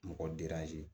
Mɔgɔ